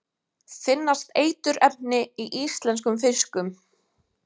Finnast eiturefni í íslenskum fiskum?